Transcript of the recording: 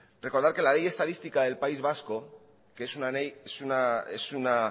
recordar que la ley estadística del país vasco que es una